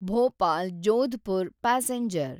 Bhopal Jodhpur passenger